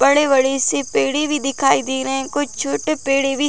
बड़े-बड़े से पेड़ भी दिखाई दे रहें हैं कुछ छोटे पेड़े भी--